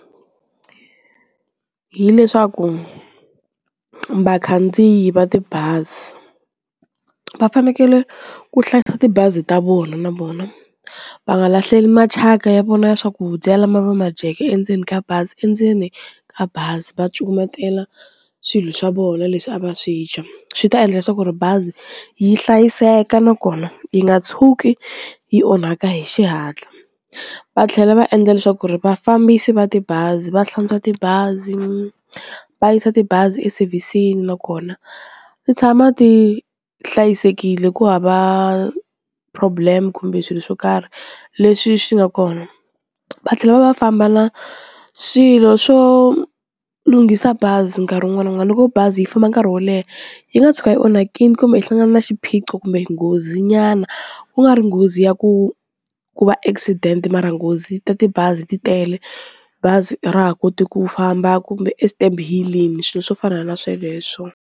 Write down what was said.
Hi leswaku vakhandziyi va tibazi va fanekele ku hlayisa tibazi ta vona na vona va nga lahleli mathyaka ya vona ya swakudya lama va ma dyeke endzeni ka bazi endzeni ka bazi va cukumetela swilo swa vona leswi a va swi dya, swi ta endla leswaku ri bazi yi hlayiseka na kona yi nga tshuki yi onhaka hi xihatla, va tlhela va endla leswaku ri vafambisi va tibazi va hlantswa tibazi va yisa tibazi e service-ini nakona ti tshama ti hlayisekile, ku hava problem kumbe swilo swo karhi leswi swi nga kona va tlhela va va famba na swilo swo lunghisa bazi nkarhi wun'wana na wun'wana loko bazi yi famba nkarhi wo leha yi nga tshuka yi onhakile kumbe hi hlangana na xiphiqo kumbe nghozi nyana ku nga ri nghozi ya ku ku va accident mara nghozi ta tibazi ti tele, bazi a ra ha koti ku famba kumbe e step hilling swilo swo fana na sweleswo.